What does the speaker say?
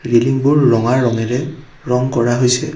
ৰেলিংবোৰ ৰঙা ৰঙেৰে ৰং কৰা হৈছে।